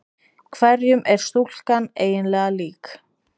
Hverjum er stúlkan eiginlega lík?